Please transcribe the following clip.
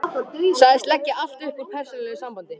Sagðist leggja allt upp úr persónulegu sambandi.